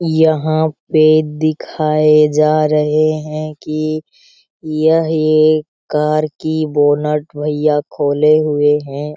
यहाँ पे दिखाए जा रहें हैं की यह एक कार कि बोनट भैया खोले हुए हैं।